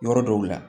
Yɔrɔ dɔw la